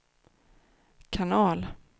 kanal